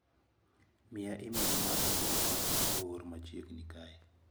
Miya imel maga duto ma oor machieg'ni kae.